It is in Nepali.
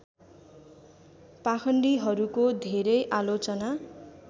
पाखण्डीहरूको धरै आलोचना